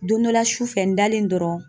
Don dɔla su fɛ .n dalen dɔrɔn